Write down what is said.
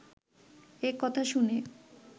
এই কথা শুনে